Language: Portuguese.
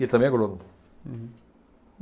E ele também é agrônomo. Hum.